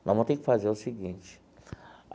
Nós vamos ter que fazer o seguinte.